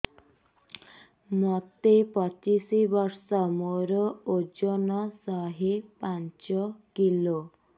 ମୋତେ ପଚିଶି ବର୍ଷ ମୋର ଓଜନ ଶହେ ପାଞ୍ଚ କିଲୋ